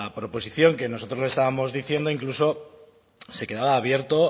proposición que nosotros le estábamos diciendo incluso se quedaba abierto